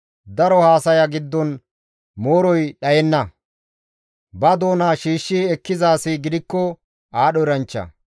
Daro haasaya giddon mooroy dhayenna; ba doona shiishshi ekkiza asi gidikko aadho eranchcha.